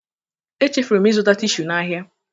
Echefuru m ịzụta tishu n'ahịa.